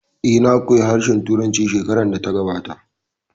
Eh, na koya harshen Turanci shekarar da ta gabata